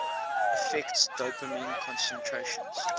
affects dopamine concentrations